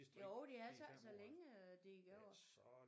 Jo det er altså ikke så længe øh der er gået